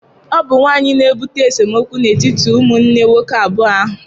Ọ bụ nwaanyị na-ebute esemokwu n'etiti ụmụnne nwoke abụọ ahụ.